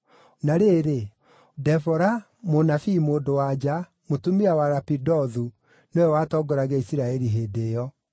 Na rĩrĩ, Debora, mũnabii mũndũ-wa-nja, mũtumia wa Lapidothu, nĩwe watongoragia Isiraeli hĩndĩ ĩyo.